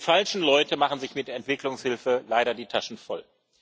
Die falschen Leute machen sich mit Entwicklungshilfe leider die Taschen voll.